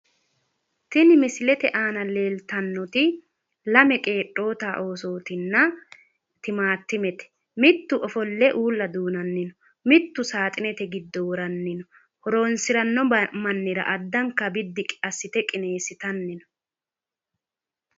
tini misilete aana leeltannoti lame qeedhoota oosootinna timaattimete mittu ofolle uulla duunanni no mittu saaxinete giddo woranni no horonsiranno mannira addanka qineessite biddi assitanni no.